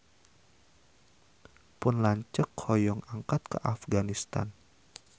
Pun lanceuk hoyong angkat ka Afganistan